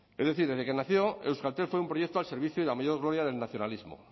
es decir desde que nació euskaltel fue un proyecto al servicio de la mayor gloria del nacionalismo